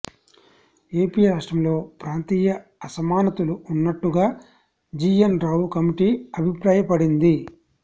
AP రాష్ట్రంలో ప్రాంతీయ అసమానతలు ఉన్నట్టుగా జీఎన్ రావు కమిటీ అభిప్రాయపడింది